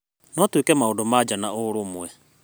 No twĩke maũndũ ma nja na ũrũmwe.